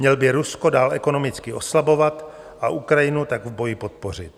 Měl by Rusko dál ekonomicky oslabovat a Ukrajinu tak v boji podpořit.